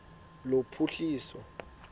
lophuhliso